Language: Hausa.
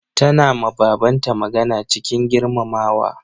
Tana ma baban ta magana cikin girmamawa.